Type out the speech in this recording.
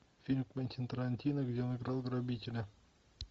фильм квентина тарантино где он играл грабителя